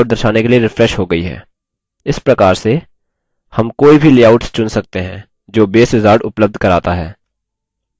इस प्रकार से हम कोई भी लेआउट्स चुन सकते हैं जो base wizard उपलब्ध कराता है